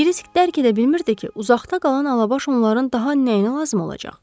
Amma Kirisk dərk edə bilmirdi ki, uzaqda qalan alabaş onların daha nəyinə lazım olacaq?